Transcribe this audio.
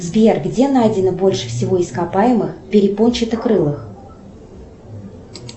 сбер где найдено больше всего ископаемых перепончатокрылых